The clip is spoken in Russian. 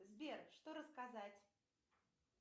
сбер что рассказать